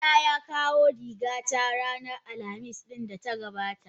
Dila ya kawo rigata a ranar Alhamis din da ta gabata?